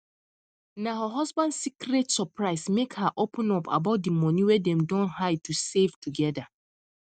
na her husband secret surprise make her open up about the money wey dem don hide to save together